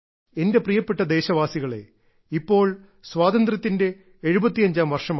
എന്റെ പ്രിയപ്പെട്ട ദേശവാസികളേ ഇപ്പോൾ സ്വാതന്ത്ര്യത്തിന്റെ എഴുപത്തിയഞ്ചാം വർഷമാണ്